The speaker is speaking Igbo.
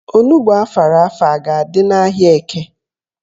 Onugbo afara afa a ga-adị n'ahịa Eke?